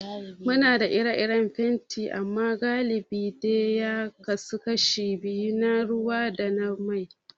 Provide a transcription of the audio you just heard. Muna da fenti iri-iri amma galibi dai ya kasu kashi biyu, na ruwa da na mai.